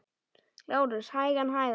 LÁRUS: Hægan, hægan!